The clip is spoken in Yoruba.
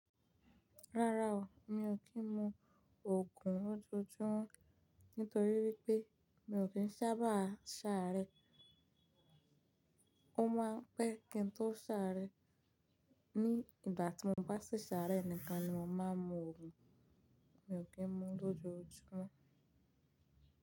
Rárá o, mi ò kín lo òògùn lójoojúmọ́, nítorí wípé mi ò kín sábà ṣàárẹ̀. Ó máa ń pẹ́ kí n tó ṣàárẹ̀, ní ìgbà tí mo bá ṣi ṣàarẹ́ nìkan ni mo máa ń mu òògùn, mi ò kí ń mu lójoojúmọ́.